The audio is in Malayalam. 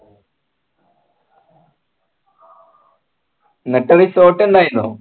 എന്നിട്ട് resort ഇണ്ടായിരുന്നോ